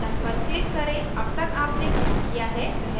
अब तक आपने क्या किया है वह उसका पूर्वावलोकन दिखाता है